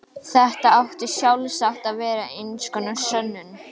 Þetta átti sjálfsagt að vera eins konar sönnun.